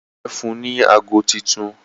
Ìyàwó rẹ fún ní àgọ títún